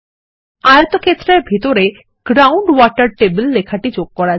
আয়তক্ষেত্রের ভিতরে ground water table লেখাটি যোগ করা